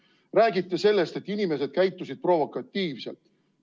Te räägite sellest, et inimesed käitusid provokatiivselt.